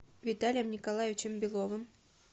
виталием николаевичем беловым